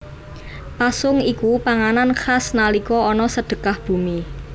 Pasung iku panganan khas nalika ana Sedekah Bumi